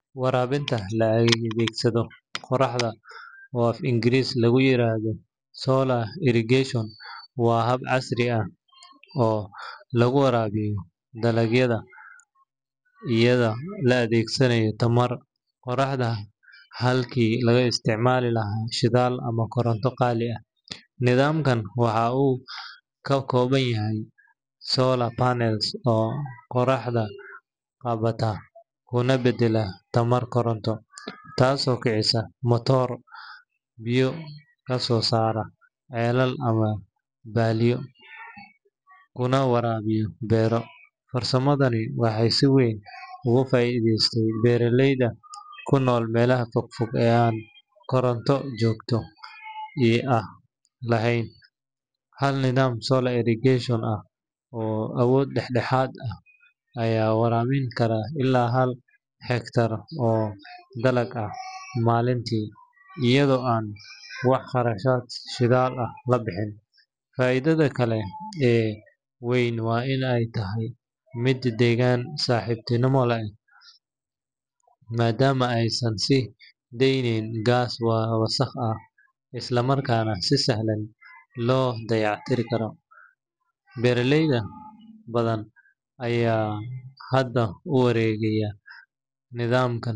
Waraabinta la adeegsado qoraxda, oo af-Ingiriisi lagu yiraahdo solar irrigation, waa hab casri ah oo lagu waraabiyo dalagyada iyadoo la adeegsanayo tamarta qoraxda halkii laga isticmaali lahaa shidaal ama koronto qaali ah. Nidaamkan waxa uu ka kooban yahay solar panels oo qorraxda qabta kuna beddela tamar koronto, taasoo kicisa matooro biyo ka soo saara ceelal ama balliyo, kuna waraabiya beero. Farsamadani waxay si weyn uga faa’iideysatay beeraleyda ku nool meelaha fog fog ee aan koronto joogto ah lahayn. Hal nidaam solar irrigation ah oo awood dhexdhexaad ah ayaa waraabin kara ilaa hal hektar oo dalag ah maalintii, iyadoo aan wax kharash shidaal ah la bixin. Faa’iidada kale ee weyn waa in ay tahay mid deegaan-saaxiibtinimo ah, maadaama aysan sii deynin gaas wasakh ah, isla markaana si sahlan loo dayactiri karo. Beeraley badan ayaa hadda u wareegaya nidaamkan.